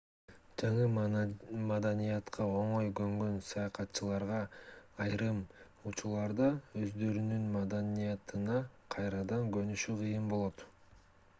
жаңы маданиятка оңой көнгөн саякатчыларга айрым учурларда өздөрүнүн маданиятына кайрадан көнүшү кыйын болот